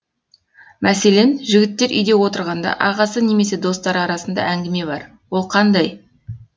мәселен жігіттер үйде отырғанда ағасы немесе достары арасында әңгіме бар ол қандай